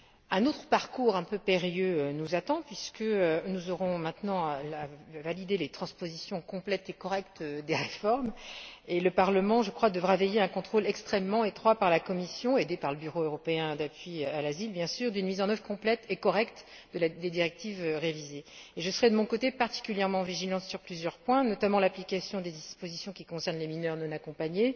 Un autre parcours un peu périlleux nous attend puisque nous aurons maintenant à valider les transpositions complètes et correctes des réformes et que le Parlement devra veiller à un contrôle extrêmement étroit par la Commission aidée par le Bureau européen d'appui à l'asile, bien sûr d'une mise en œuvre complète et correcte des directives révisées. Je serai, de mon côté, particulièrement vigilante sur plusieurs points, notamment l'application des dispositions qui concernent les mineurs non accompagnés,